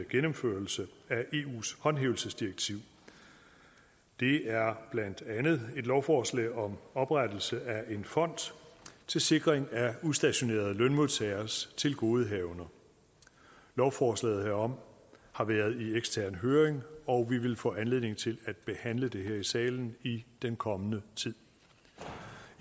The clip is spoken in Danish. gennemførelse af eus håndhævelsesdirektiv det er blandt andet et lovforslag om oprettelse af en fond til sikring af udstationerede lønmodtageres tilgodehavender lovforslaget herom har været i ekstern høring og vi vil få anledning til at behandle det her i salen i den kommende tid